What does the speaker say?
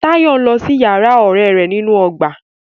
Tàyọ́ ń lọ sí yàrá ọ̀rẹ́ rẹ̀ nínú ọgbà.